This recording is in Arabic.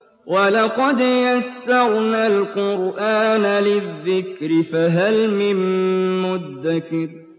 وَلَقَدْ يَسَّرْنَا الْقُرْآنَ لِلذِّكْرِ فَهَلْ مِن مُّدَّكِرٍ